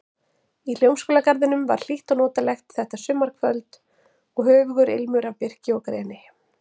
Í Hljómskálagarðinum var hlýtt og notalegt þetta sumarkvöld og höfugur ilmur af birki og greni.